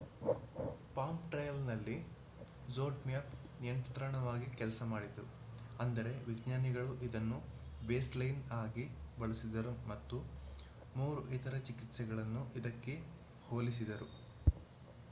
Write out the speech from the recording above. palm ಟ್ರಯಲ್‌ನಲ್ಲಿ ಝೆಡ್‌ಮ್ಯಾಪ್‌ ನಿಯಂತ್ರಣವಾಗಿ ಕೆಲಸ ಮಾಡಿತು ಅಂದರೆ ವಿಜ್ಞಾನಿಗಳು ಇದನ್ನು ಬೇಸ್‌ಲೈನ್‌ ಆಗಿ ಬಳಸಿದರು ಮತ್ತು ಮೂರು ಇತರ ಚಿಕಿತ್ಸೆಗಳನ್ನು ಇದಕ್ಕೆ ಹೋಲಿಸಿದರು